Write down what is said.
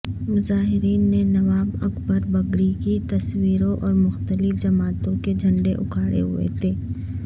مظاہرین نے نواب اکبر بگٹی کی تصویریں اور مختلف جماعتوں کے جھنڈے اٹھائے ہوئے تھے